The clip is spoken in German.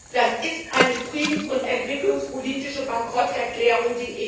Das ist eine friedens und entwicklungspolitische Bankrotterklärung.